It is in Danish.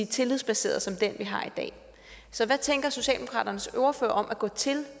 tillidsbaseret som den vi har i dag så hvad tænker socialdemokratiets ordfører om at gå til